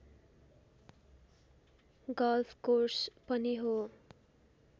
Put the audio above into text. golf course पनि हो